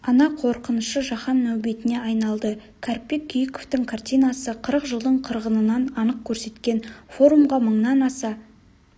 ана қорқынышы жаһан нәубетіне айналды кәріпбек күйіковтың картинасы қырық жылдың қырғынын анық көрсеткен форумға мыңнан аса